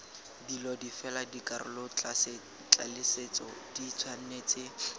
dilo fela dikarolotlaleletso di tshwanetse